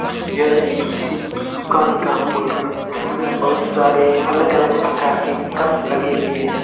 यह एक किसी दुकान का फोटो है जिसमें बहुत सारे अलग अलग प्रकार के कप लगे हुए हैं।